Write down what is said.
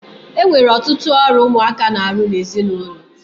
E nwere ọtụtụ ọrụ ụmụaka na-arụ n'ezinụlọ.